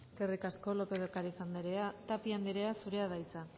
eskerrik asko lópez de ocariz andrea tapia andrea zurea da hitza